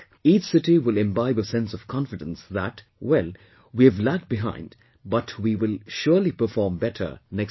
Each city will imbibe a sense of confidence that, well, we have lagged behind but we will surely perform better next time